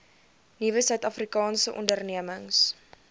nuwe suidafrikaanse ondernemings